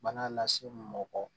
Bana lase mɔgɔ